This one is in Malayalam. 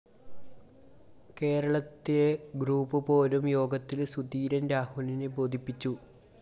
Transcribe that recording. കേരളത്തിലെ ഗ്രൂപ്പ്‌ പോരും യോഗത്തില്‍ സുധീരന്‍ രാഹുലിനെ ബോധിപ്പിച്ചു